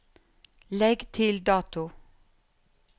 Legg til dato